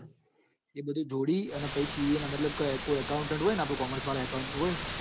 એ બધું જોડી ca ના મતલબ કોઇ accounder હોય ન કોમર્સ વાળા accounder હોય ન